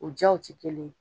O diyaw tɛ kelen ye